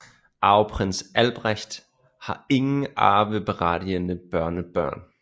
Arveprins Albrecht har ingen arveberettigede børnebørn